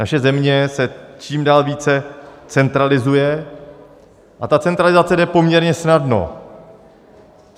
Naše země se čím dál více centralizuje a ta centralizace jde poměrně snadno.